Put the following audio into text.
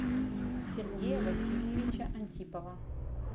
сергея васильевича антипова